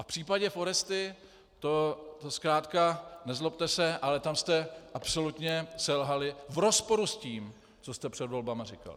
A v případě Foresty to zkrátka, nezlobte se, ale tam jste absolutně selhali v rozporu s tím, co jste před volbami říkali.